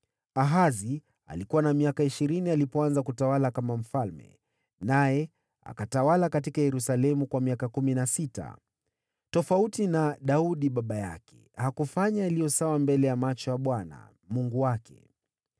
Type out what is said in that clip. Ahazi alikuwa na miaka ishirini alipoanza kutawala, akatawala huko Yerusalemu kwa miaka kumi na sita. Tofauti na Daudi baba yake, hakufanya yaliyo mema machoni pa Bwana, Mungu wake.